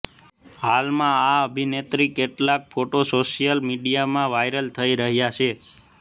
હાલમાં આ અભિનેત્રીના કેટલાક ફોટો સોશિયલ મીડિયામાં વાયરલ થઈ રહ્યા છે